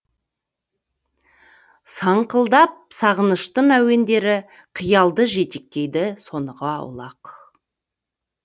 саңқылдап сағыныштың әуендері қиялды жетектейді соныға аулақ